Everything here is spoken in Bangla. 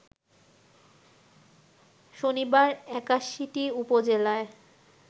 শনিবার ৮১টি উপজেলায়